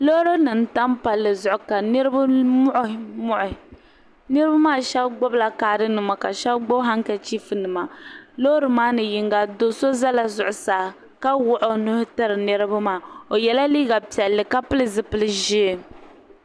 Loori nima n tam palli zuɣu ka nitiba muɣi muɣi niriba maa sheba gbibila kaari nima ka sheba gbibi hankachifu nima loori maani yinga do'so zala zuɣusaa ka wuɣi o nuhi tiri niriba maa o yela liiga piɛlli ka piri zipili ʒee.